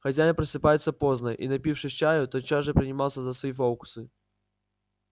хозяин просыпается поздно и напившись чаю тотчас же принимался за свои фокусы